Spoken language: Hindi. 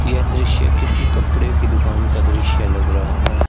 ये दृश्य किसी कपड़े की दुकान का दृश्य लग रहा है।